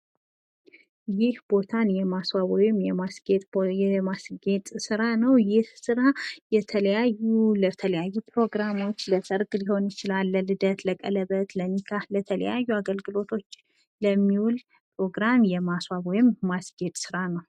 ይህ ቦታን የማስዋብ ወይ የማስጌጥ ስራ ነው ይህ ስራ ለተለያዩ ፕሮግራሞች ለሰርግ ሊሆን ይችላል ለልደት ለቀለበት ለኒካ ለተለያዩ አገልግሎቶች የሚውል ፕሮግራም የማስዋብ ወይም የማስጌጥ ስራ ነው።